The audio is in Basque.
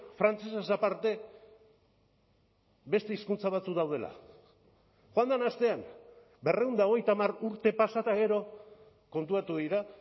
frantsesez aparte beste hizkuntza batzuk daudela joan den astean berrehun eta hogeita hamar urte pasa eta gero konturatu dira